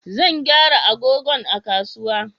Zan gyara agogon a kasuwa